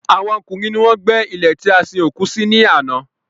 Àwọn ọkùnrin ni wọ́n gbé ilè tí a sin òkú sí ní àná